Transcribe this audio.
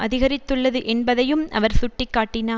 அதிகரித்துள்ளது என்பதையும் அவர் சுட்டி காட்டினார்